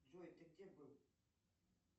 джой ты где был